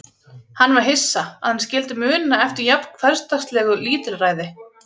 Hann var hissa, að hann skyldi muna eftir jafn hversdagslegu lítilræði.